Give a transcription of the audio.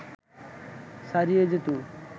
ছাড়িয়ে যেত